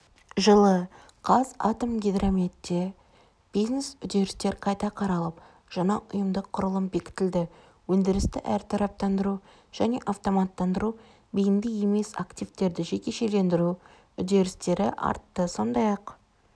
жылы қазатомөнеркәсіпте бизнес-үдерістер қайта қаралып жаңа ұйымдық құрылым бекітілді өндірісті әртараптандыру және автоматтандыру бейінді емес активтерді жекешелендіру үдерістері артты сондай-ақ